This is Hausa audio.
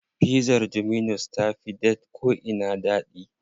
Pizzar dominus ta fi da ko'ina daɗi.